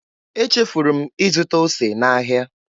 Echefuru m ịzụta ose n'ahịa.